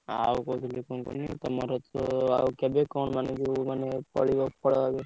କହୁଥିଲି କଣ କୁହନି ତମର ଯୋଉ ଆଉକେବେ କଣ ମାନେ ଯୋଉ ଫଳିବ ଫଳ ଏବେ?